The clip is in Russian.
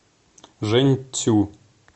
жэньцю